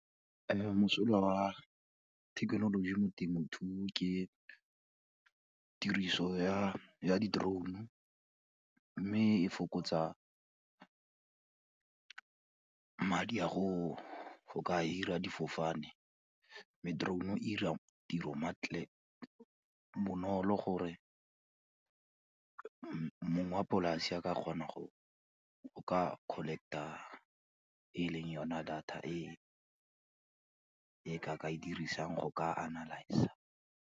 Mosola wa thekenoloji mo temothuong ke tiriso ya di-drone-o, mme e fokotsa madi a go ka hire-a difofane, mme, drone-o e dira tiro maklik, bonolo gore mongwe wa polase a ka kgona go ka collect-a e leng yone data e e ke e dirisang go ka analyse-a.